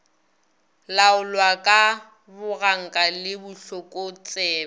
laolwa ka boganka le bohlokotsebe